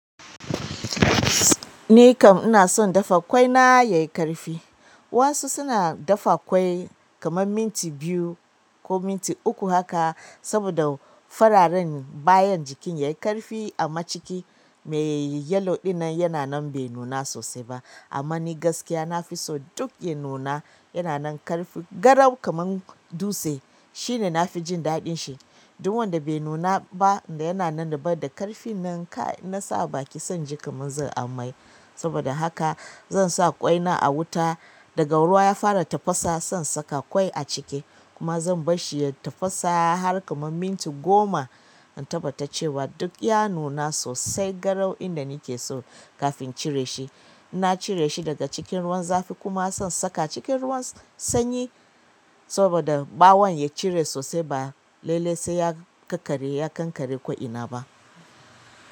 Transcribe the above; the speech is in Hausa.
Ni kam ina son dafa ƙwai na yayi ƙarfi. Wasu suna dafa ƙwai kamar minti biyu ko minti uku haka saboda fararen bayan jikin yayi ƙarfi amma ciki me yayi yellow din nan yana nan bai nuna sosai ba. Amma ni gaskiya nafi so duk ya nuna yana nan ƙarfi garau kaman dutse. Shi ne nafi jin daɗin shi. Duk wanda bai nuna ba da yana nan da baida ƙarfin nan kai in na sa a baki sai in ji kaman zan amai. Saboda haka zan sa ƙwai na a wuta daga ruwa ya fara tafasa zan saka ƙwai a ciki kuma zan bar shi ya tafasa har kaman minti goma in tabbata cewa duk ya nuna sosai garau inda nake so kafin in cire shi. Na cire shi daga cikin ruwan zafi kuma zan saka cikin ruwan sanyi saboda ɓawon ya cire sosai ba laile sai ya ƙaƙare ya kankare ko ina ba.